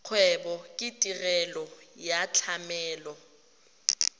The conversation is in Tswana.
kgwebo ke tirelo ya tlamelo